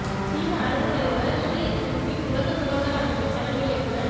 சீன அரசுத் தலைவர் ஷி ஜின்பிங் உலக சுகாதார அமைப்பின் தலைமை இயக்குநர்